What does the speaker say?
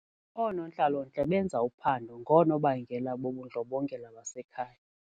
Oonontlalontle benza uphando ngoonobangela bobundlobongela basekhaya.